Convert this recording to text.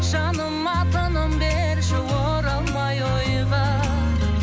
жаныма тыным берші оралмай ойға